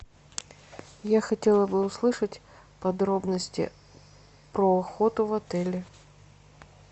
я хотела бы услышать подробности про охоту в отеле